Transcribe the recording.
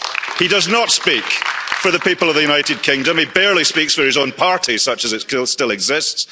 He does not speak for the people of the United Kingdom, he barely speaks for his own party, such as it still exists.